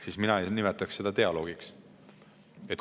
Aga mina ei nimetaks seda dialoogiks.